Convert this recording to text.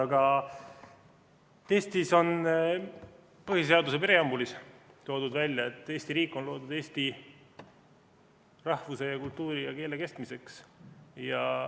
Aga Eesti põhiseaduse preambulis on toodud välja, et Eesti riik on loodud eesti rahvuse, kultuuri ja keele kestmiseks.